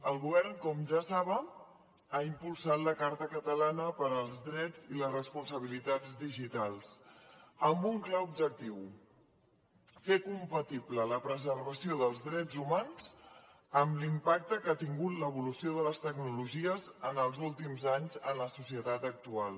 el govern com ja saben ha impulsat la carta catalana per als drets i les responsabilitats digitals amb un clar objectiu fer compatible la preservació dels drets humans amb l’impacte que ha tingut l’evolució de les tecnologies en els últims anys en la societat actual